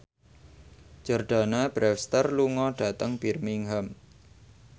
Jordana Brewster lunga dhateng Birmingham